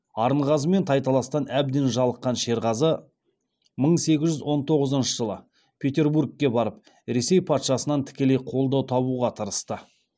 арынғазымен тайталастан әбден жалыққан шерғазы мың сегіз жүз он тоғызыншы жылы петербургке барып ресей патшасынан тікелей қолдау табуға тырысты